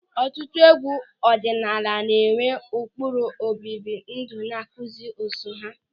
Ọtụtụ egwu ọdịnala na-enwe ụkpụrụ obibi ndụ na nkụzi so ha.